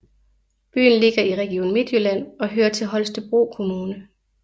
Byen ligger i Region Midtjylland og hører til Holstebro Kommune